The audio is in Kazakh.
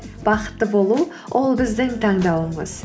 бақытты болу ол біздің таңдауымыз